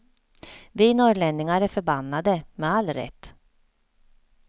Vi norrlänningar är förbannade, med all rätt.